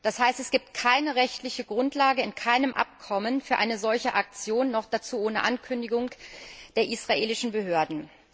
Das heißt, es gibt keine rechtliche Grundlage in irgendeinem Abkommen für eine solche Aktion, noch dazu ohne Ankündigung der israelischen Behörden.